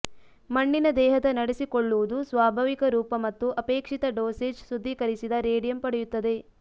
ಮಣ್ಣಿನ ದೇಹದ ನಡೆಸಿಕೊಳ್ಳುವುದು ಸ್ವಾಭಾವಿಕ ರೂಪ ಮತ್ತು ಅಪೇಕ್ಷಿತ ಡೋಸೇಜ್ ಶುದ್ಧೀಕರಿಸಿದ ರೇಡಿಯಂ ಪಡೆಯುತ್ತದೆ